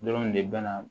Dɔrɔnw de bɛ na